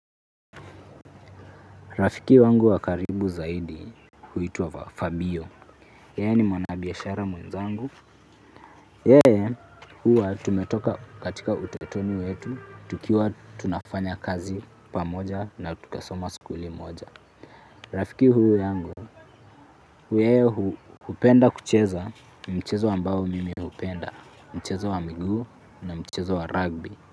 Rafiki wangu wa karibu zaidi, huitwa Fabio. Yeye ni mwanabiashara mwenzangu. Yeye huwa tumetoka katika utotoni wetu tukiwa tunafanya kazi pamoja na tumesoma skuli moja. Rafiki huu yangu, yeye hupenda kucheza mchezo ambao mimi hupenda, mchezo wa miguu na mchezo wa rugby.